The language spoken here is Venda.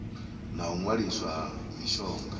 na u waliswa ha mishonga